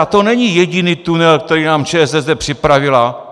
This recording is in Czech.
A to není jediný tunel, který nám ČSSD připravila.